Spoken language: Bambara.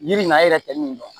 Yiri in na a yɛrɛ tɛ min dɔn